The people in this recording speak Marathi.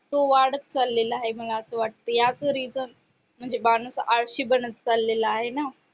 वाढत चालेल आहे मला असे वाटतेय याच rizan म्हणजे माणूस आळशी बनत चालेला आहे ना